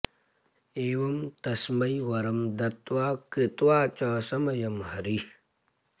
एवं तस्मै वरं दत्त्वा कृत्वा च समयं हरिः